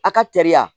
A ka teri